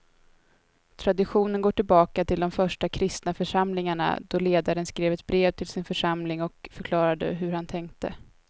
Traditionen går tillbaka till de första kristna församlingarna då ledaren skrev ett brev till sin församling och förklarade hur han tänkte.